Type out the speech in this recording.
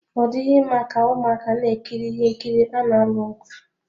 Ọ dịghị mma ka ụmụaka na-ekiri ihe nkiri ana alụ ọgụ.